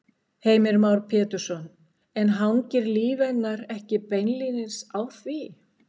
Heimir Már Pétursson: En hangir líf hennar ekki beinlínis á því?